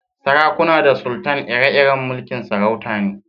Sarakuna da sultan ire-iren mulki'n sarauta ne.